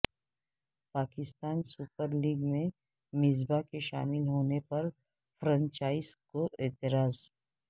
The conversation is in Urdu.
پاکستان سوپر لیگ میں مصباح کے شامل ہونے پر فرنچائز کو اعتراض